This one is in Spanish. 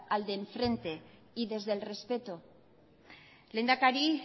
al de enfrente y desde el respeto lehendakari